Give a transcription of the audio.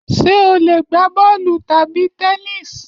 Ṣé o lè gbá bọ́ọ̀lù tábìlì tennis